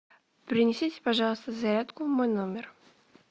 принесите пожалуйста зарядку в мой номер